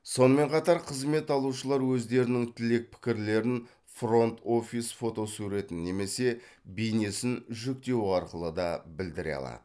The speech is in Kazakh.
сонымен қатар қызмет алушылар өздерінің тілек пікірлерін фронт офис фотосуретін немесе бейнесін жүктеу арқылы да білдіре алады